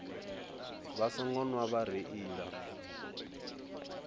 vha songo nwa vha reila